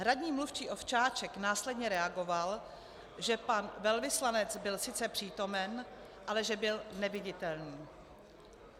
Hradní mluvčí Ovčáček následně reagoval, že pan velvyslanec byl sice přítomen, ale že byl neviditelný.